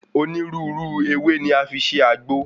Onírúurú ewé ni a fi ń ṣe àgbo.